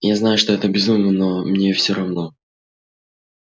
я знаю что это безумие но мне всё равно